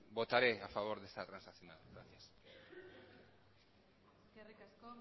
votaré a favor de esta transacción gracias eskerrik asko